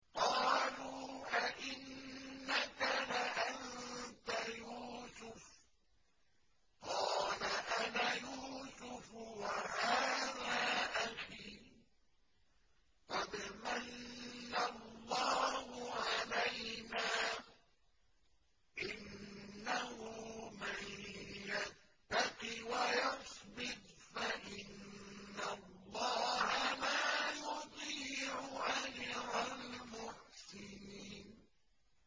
قَالُوا أَإِنَّكَ لَأَنتَ يُوسُفُ ۖ قَالَ أَنَا يُوسُفُ وَهَٰذَا أَخِي ۖ قَدْ مَنَّ اللَّهُ عَلَيْنَا ۖ إِنَّهُ مَن يَتَّقِ وَيَصْبِرْ فَإِنَّ اللَّهَ لَا يُضِيعُ أَجْرَ الْمُحْسِنِينَ